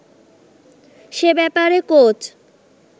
সে ব্যাপারে কোচ